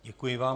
Děkuji vám.